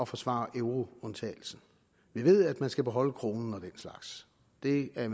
forsvare euroundtagelsen vi ved at man skal beholde kronen og den slags det er